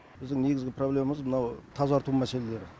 біздің негізгі проблемамыз мынау тазарту мәселелері